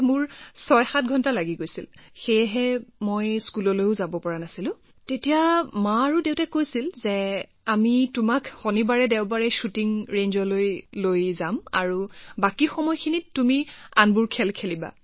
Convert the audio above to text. আগতে প্ৰশিক্ষণৰ বাবে অহা যোৱা কৰিছিলো বাবে মইও মোৰ স্কুলখন মিছ কৰিছিলোঁ তাৰ পিছত মামীপাপাই কৈছিল যে বাবু এটা কাম কৰা আমি তোমাক শনিবাৰদেওবাৰে শ্বুটিং ৰেঞ্জলৈ লৈ যাম আৰু বাকী সময় তুমি অন্য খেল খেলা